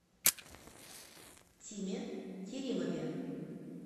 тиме керимове